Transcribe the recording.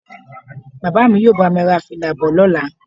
Bàbá mi yóò bá mi ra fìlà bọ̀ lọ́la